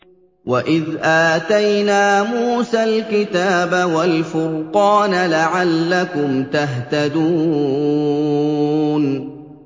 وَإِذْ آتَيْنَا مُوسَى الْكِتَابَ وَالْفُرْقَانَ لَعَلَّكُمْ تَهْتَدُونَ